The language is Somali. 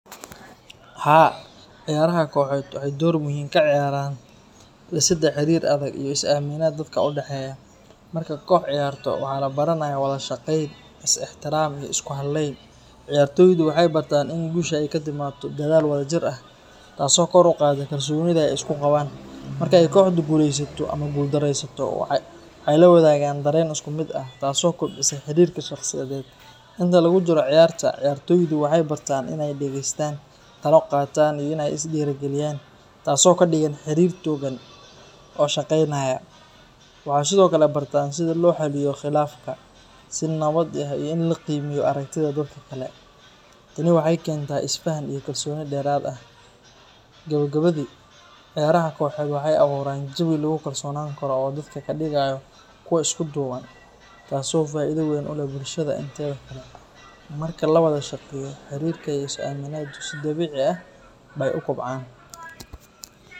Haa ciyara koxed waxay dor muhim ah kaciyaran disida xarir adhag iyo isaminada, dadka udaxeyah marka koox ciyarta waxa labaranaya walada shaqeyn, is ixtiram iyoo isku haleyn ciyartoyta waxay bartan inay gusha aay katimato dadal wada jir ah, tasi kor uqada kalsonida iskuqaban markay koxdu guleysato ama gul dareysato waxay lawadagan daren iskumid ah, tasi oo kobcisa xarirka shaqsiyaded inta lagu jiro ciyarta, ciyartoyda waxay bartan inay dageystan talo qatan inay isdigiri galiyan, tasi oo kadigan xarir togan oo shaqeynaya waxay sidiokale bartan sidii loo xaliyo qilafka sii nawad ah, iyo ini laa qimeyo aragtida dadka kale tani waxay kenta isfahan iyo kalsoni derad ah gabagabadi ciyaraha koxed waxay aburan jawi lagu kalsonani karo oo dadka kadigayo kuwa iskuduban, tasi faida weyn uleh bulshada marka lawada shaqeyo xarirka iyo isaminadu sii dabidii bay ukobcan.